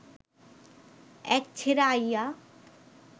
এক ছেড়া আইয়া